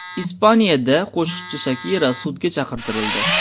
Ispaniyada qo‘shiqchi Shakira sudga chaqirtirildi.